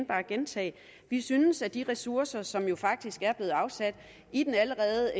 bare gentage at vi synes at de ressourcer som jo faktisk er blevet afsat i den allerede